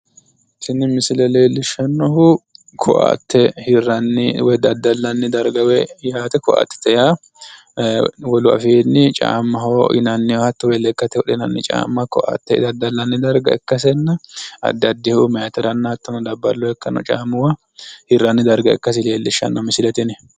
Tini misile leellishshannohu lekkate wodhinanni caamma/koatte daddallanni darga ikkasinna kunino labballunna meetu caamma hirranni darga ikkasi xawissanno.